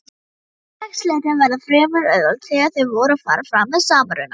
Félagsslitin verða fremur auðveld þegar þau fara fram með samruna.